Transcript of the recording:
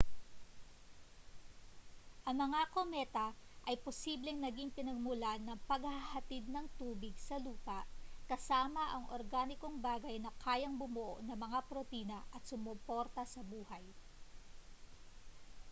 ang mga kometa ay posibleng naging pinagmulan ng paghahatid ng tubig sa lupa kasama ang organikong bagay na kayang bumuo ng mga protina at sumuporta sa buhay